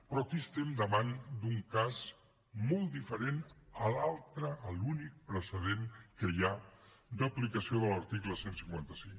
però aquí estem davant d’un cas molt diferent a l’altre a l’únic precedent que hi d’aplicació de l’article cent i cinquanta cinc